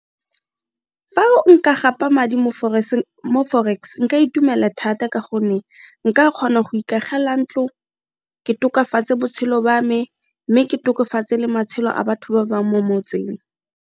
Fa o nka gapa madi mo forex nka itumela thata ka gonne nka kgona go ikagela ntlo, ke tokafatse botshelo ba me mme ke tokofatse le matshelo a batho ba bang mo motseng.